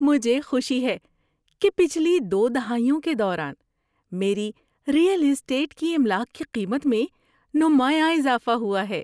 مجھے خوشی ہے کہ پچھلی دو دہائیوں کے دوران میری ریئل اسٹیٹ کی املاک کی قیمت میں نمایاں اضافہ ہوا ہے۔